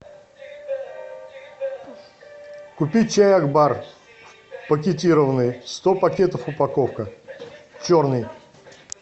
купи чай акбар пакетированный сто пакетов упаковка черный